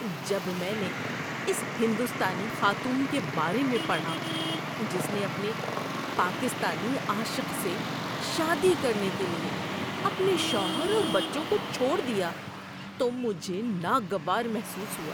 جب میں نے اس ہندوستانی خاتون کے بارے میں پڑھا جس نے اپنے پاکستانی عاشق سے شادی کرنے کے لیے اپنے شوہر اور بچوں کو چھوڑ دیا تو مجھے ناگوار محسوس ہوا۔